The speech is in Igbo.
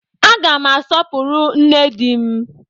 Aga m asọpụrụ nne di m